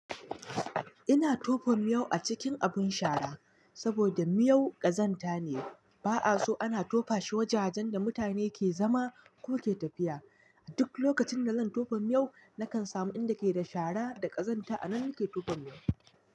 Ina tofon miyau a cikin abun shara, saboda miyau ƙazanta ne, ba'a so ana tofa shi wajajen da mutane ke zama ko tafiya. A duk lokacin da zan tofa miyau, nakan samu inda ka yi da shara da ƙazanta a nan ke tofon miyau.